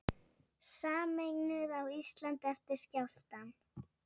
Sameinuð á Íslandi eftir skjálftann